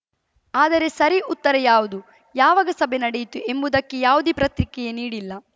ಆದರೆ ಸರಿ ಉತ್ತರ ಯಾವುದು ಯಾವಾಗ ಸಭೆ ನಡೆಯಿತು ಎಂಬುದಕ್ಕೆ ಯಾವುದೇ ಪ್ರತ್ರಿಕ್ರಿಯೆ ನೀಡಿಲ್ಲ